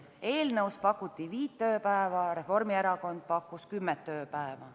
Eelnõus pakuti viit tööpäeva, Reformierakond pakkus kümmet tööpäeva.